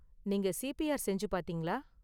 நீங்க சிபிஆர் செஞ்சு பாத்தீங்களா?